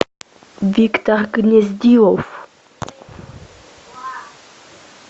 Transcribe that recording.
виктор гнездилов